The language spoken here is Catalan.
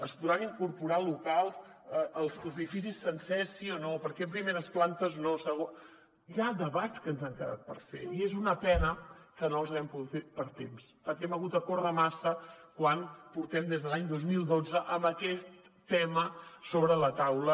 es podran incorporar locals als edificis sencers sí o no per què a primeres plantes no hi ha debats que ens han quedat per fer i és una pena que no els haguem pogut fer pel temps perquè hem hagut de córrer massa quan portem des de l’any dos mil dotze amb aquest tema sobre la taula